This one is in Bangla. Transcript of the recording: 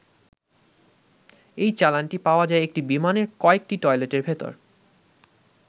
এই চালানটি পাওয়া যায় একটি বিমানের কয়েকটি টয়লেটের ভেতর।